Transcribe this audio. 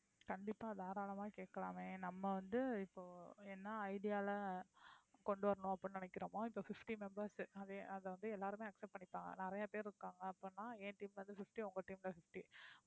கண்டிப்பா தாராளமா கேக்கலாமே நம்ம வந்து இப்போ என்ன idea ல கொண்டு வரணும் அப்படின்னு நினைக்கிறோமோ இப்போ fifty members அத~அத வந்து எல்லாருமே accept பண்ணிப்பாங்க நிறைய பேரு இருக்காங்க அப்படின்னா என் team ல இருந்து fifty உங்க team ல இருந்து fifty